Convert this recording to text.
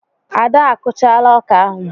Ada a kụchaala ọkà ahụ.